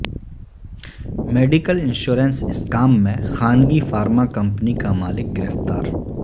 medical insurance scam میں خانگی pharma company کا مالک گرفتار